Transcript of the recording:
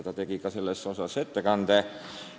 Tema tegi ka sellel teemal ettekande.